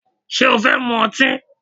Ṣé o fẹ́ mu ọtí?